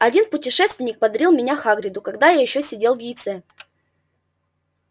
один путешественник подарил меня хагриду когда я ещё сидел в яйце